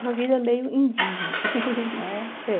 Uma vida meio indígena. É? É.